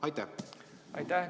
Aitäh!